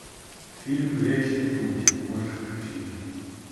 фильм млечный путь можешь включить